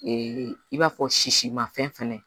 Ee i b'a fɔ sisimafɛn